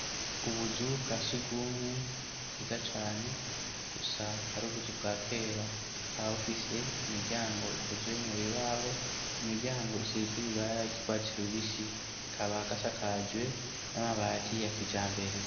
Ubuzu bwa si ugumwe bwiza cane gusa ari ubuzu bwa kera wawufise imiryango ikozwe mu bibaho imiryango isizwe ibara ryikwatsiraubisi kaba gasakajwe n'amabati yakija mbere.